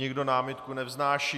Nikdo námitku nevznáší.